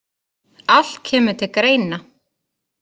Allt kemur til greina.